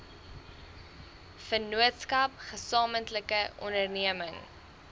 vennootskap gesamentlike onderneming